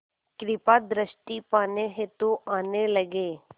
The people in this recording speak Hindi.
कृपा दृष्टि पाने हेतु आने लगे